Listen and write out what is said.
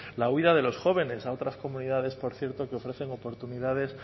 la huida de los jóvenes a otras comunidades por cierto que ofrecen oportunidades